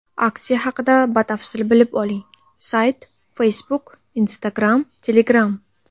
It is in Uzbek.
Aksiya haqida batafsil bilib oling: Sayt Facebook Instagram Telegram .